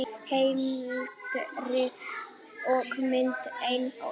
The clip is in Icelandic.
Heimildir og mynd: Einar Ól.